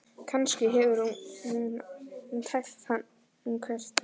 Kannski hefur hún tælt hann, hver veit?